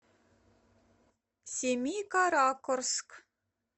семикаракорск